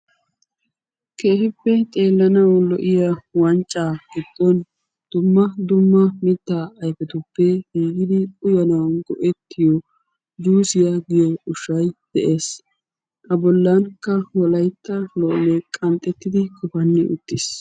Keehippe xeelanawu lo'iya wancca giddon uyanawu maadiya juussiya ushshay de'ees.